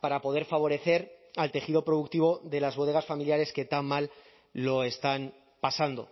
para poder favorecer al tejido productivo de las bodegas familiares que tan mal lo están pasando